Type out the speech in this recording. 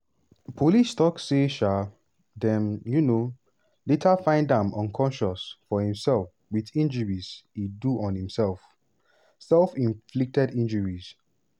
police tok say um dem um later find am unconscious for im cell wit injuries e do on himself (self-inflicted injuries).